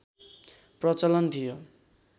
प्रचलन थियो